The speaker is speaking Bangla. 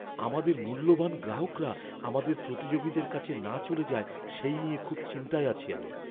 আমাদের মূল্যবান গ্রাহকরা আমাদের প্রতিযোগীদের কাছে না চলে যায় সেই নিয়ে খুব চিন্তায় আছি আমি।